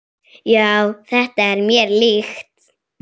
Já, þetta er mér líkt.